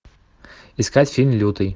искать фильм лютый